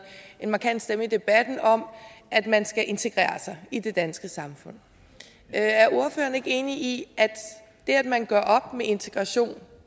en markant stemme i debatten om at man skal integrere sig i det danske samfund er er ordføreren ikke enig i at det at man gør op med integration